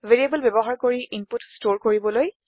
variable ব্যৱহাৰ কৰি input ষ্টৰে কৰিবলৈ